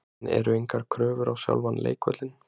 En eru engar kröfur á sjálfan leikvöllinn?